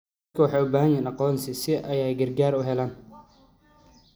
Dadku waxay u baahan yihiin aqoonsi si ay gargaar u helaan.